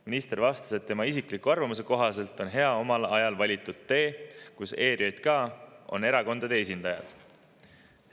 Minister vastas, et tema isikliku arvamuse kohaselt on hea omal ajal valitud tee ERJK‑s on erakondade esindajad.